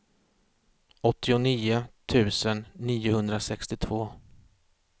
åttionio tusen niohundrasextiotvå